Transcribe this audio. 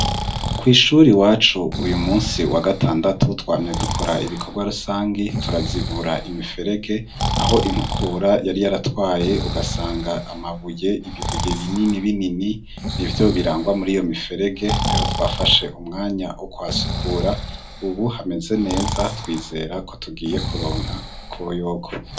Kw'ishure iwacu uyu munsi wa gatandatu twamye dukora ibikorwa rusangi, turazibura imiferege, aho inkukura yari yaratwaye ugasanga amabuye ibibuye binini binini n'ivyo birangwa muri iyo miferege. Rero twafashe umwanya wo kuhasukura ubu hameze neza. Twizera ko tugiye kuronka akoyoko.